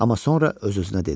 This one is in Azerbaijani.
Amma sonra öz-özünə dedi.